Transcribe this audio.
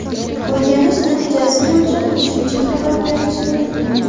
O‘rganish natijasi bo‘yicha qo‘shimcha xabar berilishi bildirilgan.